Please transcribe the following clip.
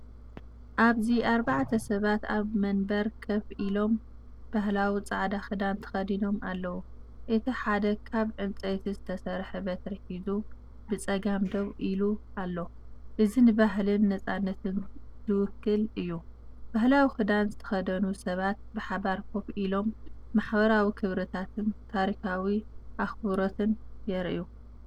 ኣብዚ ኣርባዕተ ሰባት ኣብ መንበር ኮፍ ኢሎም፡ባህላዊ ጻዕዳ ክዳን ተኸዲኖም ኣለዉ። እቲ ሓደ ካብ እንፀይቲ ዝተሰርሐ በትሪ ሒዙ ብጸጋም ደው ኢሉ ኣሎ። እዚ ንባህልን ናጽነትን ዝውክል እዩ። ባህላዊ ክዳን ዝተኸድኑ ሰባት ብሓባር ኮፍ ኢሎም ማሕበራዊ ክብርታትንታሪኻዊ ኣኽብሮትን የርእዩ።